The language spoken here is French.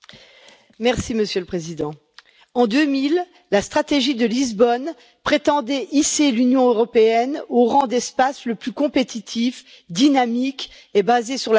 Monsieur le Président, en 2000, la stratégie de Lisbonne prétendait hisser l'Union européenne au rang d'espace le plus compétitif, dynamique et basé sur la connaissance.